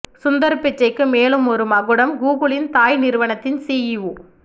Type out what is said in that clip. சுந்தர் பிச்சைக்கு மேலும் ஒரு மகுடம் கூகுளின் தாய் நிறுவனத்தின் சிஇஓ